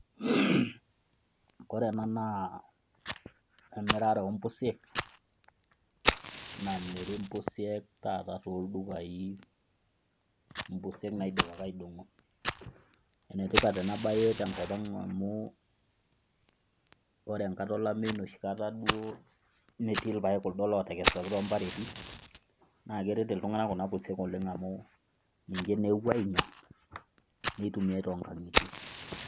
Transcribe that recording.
Ore ena naa emirare oo mpusiek namiri impusiek taata toldukai, impusiek naidipaki aidong'o. Enetipat enabae tenkop ang amu ore enkata olameyu noshikata duo emetii kuldo paek otekesuaki toombareti, naa keret iltung'ana kuna pusiek oleng amu ninche naa ewuoi ainyang, neitumiai toonkang'itie.